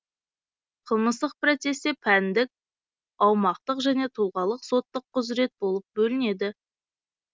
қылмыстық процесте пәндік аумақтық және тұлғалық соттық құзырет болып бөлінеді